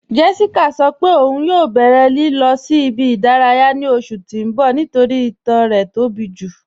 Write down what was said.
Jéṣíkà sọ́ pẹ̀ ọun yọ̀ bẹ̀rẹ̀ lilọ̀ sí ibi-idaraya ní oṣù tí n bọ̀ nítorí ìtàn rẹ̀ tó bí ju